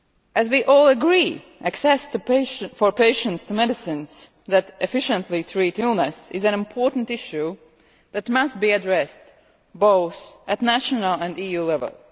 As we all agree, access for patients to medicines that efficiently treat illness is an important issue that must be addressed both at national and EU level.